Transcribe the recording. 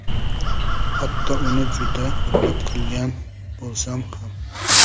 Hatto uni juda hurmat qilgan bo‘lsam ham”.